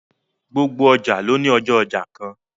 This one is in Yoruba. Gbogbo ọjà ló ní ọjọ́ ọjà kan